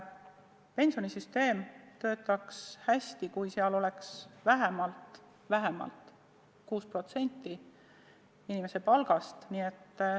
Pensionisüsteem töötaks hästi, kui sinna läheks vähemalt 6% inimese palgast.